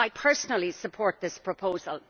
I personally support this proposal.